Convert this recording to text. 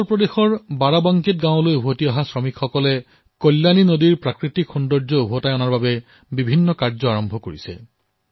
ইউপিৰ বাৰাবংকীত গাঁৱলৈ উভতি অহা শ্ৰমিকসকলে কল্যাণী নদীৰ প্ৰাকৃতিক স্বৰূপ প্ৰদান কৰাৰ কাম আৰম্ভ কৰিছে